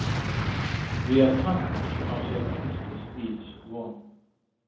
Því að hann á sér einskis ills von.